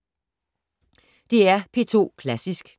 DR P2 Klassisk